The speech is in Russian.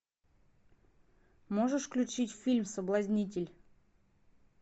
можешь включить фильм соблазнитель